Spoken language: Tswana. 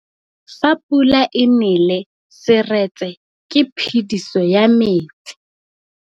Fa pula e nelê serêtsê ke phêdisô ya metsi.